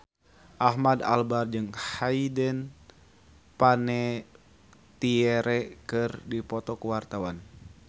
Ahmad Albar jeung Hayden Panettiere keur dipoto ku wartawan